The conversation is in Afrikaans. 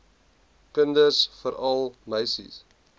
kinders veral meisies